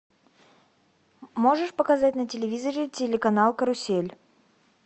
можешь показать на телевизоре телеканал карусель